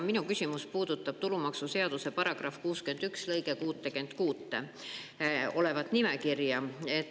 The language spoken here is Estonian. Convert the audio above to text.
Minu küsimus puudutab tulumaksuseaduse § 61 lõikes 66 olevat nimekirja.